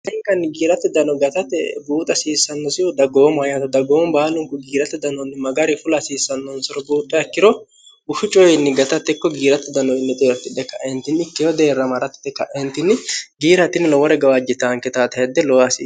hari kanni giiratte dano gatate buuxa hasiissannosihu daggoomo hyato daggoom baalunku giirate danoonni magari fula hasiissannonsaro buuxxo yaikkiro ushu coyiinni gatattekko giiratte danno innexe yoortidhe kaentinnikkeho deerramarattite ka'entinni giiraatinni lowore gawaajji taanke taate hedde looasi